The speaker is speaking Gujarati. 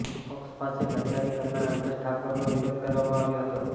પક્ષ સાથે ગદ્દારી કરનાર અલ્પેશ ઠાકોરનો વિરોધ કરવામાં આવ્યો હતો